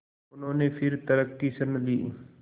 उन्होंने फिर तर्क की शरण ली